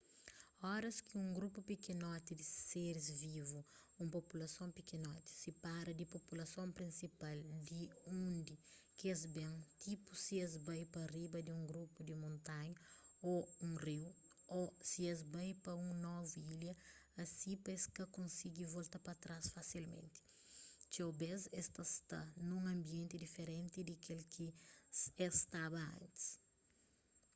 oras ki un grupu pikinoti di seris vivu un populason pikinoti sipara di populason prinsial di undi ki es ben tipu si es bai pa riba di un grupu di montanha ô un riu ô si es bai pa un novu ilha asi pa es ka konsigi volta pa trás fasilmenti txeu bês es ta sta nun anbienti diferenti di kel ki es staba antis